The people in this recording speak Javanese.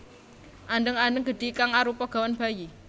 Andheng andheng gedhi kang arupa gawan bayi